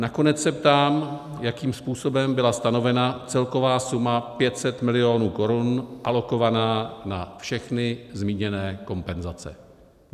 Nakonec se ptám, jakým způsobem byla stanovena celková suma 500 milionů korun, alokovaná na všechny zmíněné kompenzace.